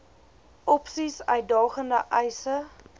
opsies uitdagende eise